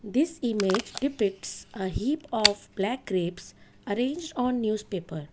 this image depicts a heap of black grapes arranged on newspaper.